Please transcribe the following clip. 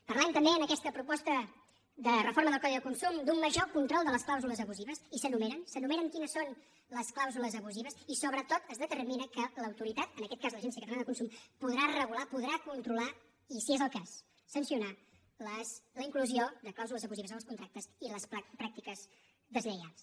parlem també en aquesta proposta de reforma del codi de consum d’un major control de les clàusules abusives i s’enumeren s’enumeren quines són les clàusules abusives i sobretot es determina que l’autoritat en aquest cas l’agència catalana del consum podrà regular podrà controlar i si és el cas sancionar la inclusió de clàusules abusives en els contractes i les pràctiques deslleials